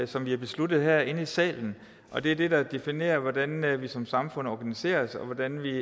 som vi har besluttet herinde i salen og det er det der definerer hvordan vi som samfund organiserer os og hvordan vi